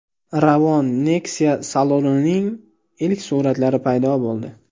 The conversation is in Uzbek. Ravon Nexia salonining ilk suratlari paydo bo‘ldi .